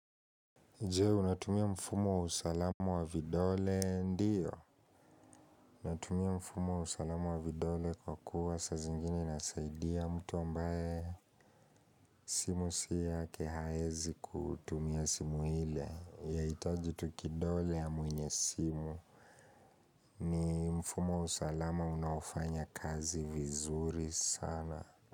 Je, unatumia mfumo wa usalama wa vidole, ndiyo natumia mfumo wa usalama wa vidole kwa kuwa sazingine inasaidia mtu ambaye simu si yake haezi kutumia simu ile, yahitaji tu kidole ya mwenye simu. Ni mfumo wa usalama unafanya kazi vizuri sana.